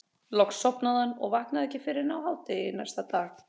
Loks sofnaði hann og vaknaði ekki fyrr en á hádegi næsta dag.